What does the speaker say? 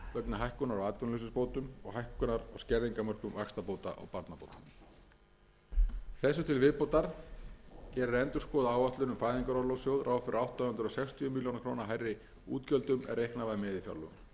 hækkunar á skerðingarmörkum vaxtabóta og barnabóta þessu til viðbótar gerir endurskoðuð áætlun um fæðingarorlofssjóð ráð fyrir átta hundruð sextíu milljónir króna hærri útgjöldum en reiknað var með í fjárlögum